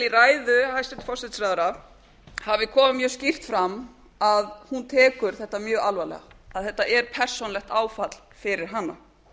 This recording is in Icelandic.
í ræðu hæstvirts forsætisráðherra hafi komið mjög skýrt fram að hún tekur þetta mjög alvarlega að þetta er persónulegt áfall fyrir hana